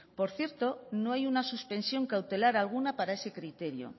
por cierto no hay una suspensión cautelar alguna para ese criterio